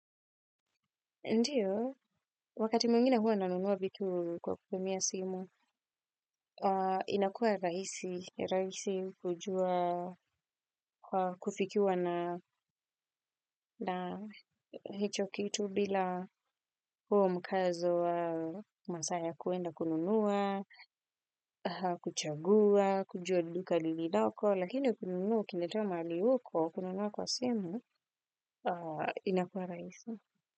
Ndiyo, wakati mwingine huwa nanunua vitu kwa kutumia simu, inakua raisi, raisi kujua kufikiwa na hicho kitu bila huo mkazo wa masaa ya kuenda kununua, kuchagua, kujua duka lililoko, lakini kununua ukiletewa mahali uko, kununua kwa simu, inakua raisi.